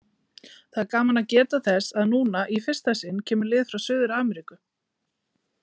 Það er gaman að geta þess að núna, í fyrsta sinn, kemur lið frá Suður-Ameríku.